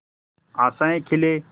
आशाएं खिले